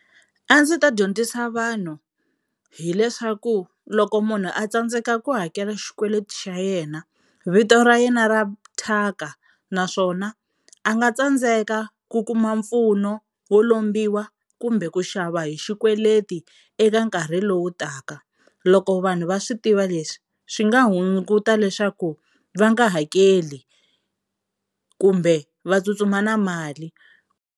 A ndzi ta dyondzisa vanhu hileswaku loko munhu a tsandzeka ku hakela xikweleti xa yena vito ra yena ra thyaka naswona a nga tsandzeka ku kuma mpfuno wo lombiwa kumbe ku xava hi xikweleti eka nkarhi lowu taka. Loko vanhu va swi tiva leswi swi nga hunguta leswaku va nga hakeli kumbe va tsutsuma na mali.